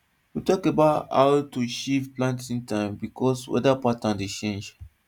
we tok about how to shift planting time bkos weda pattern dey change